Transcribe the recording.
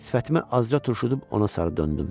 Sifətimi azca turşudub ona sarı döndüm.